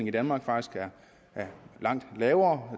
i danmark faktisk er langt lavere